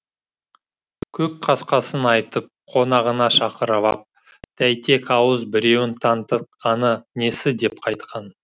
көк қасқасын айтып қонағына шақырып ап тәйтек ауыз біреуін тантытқаны несі деп қайтқан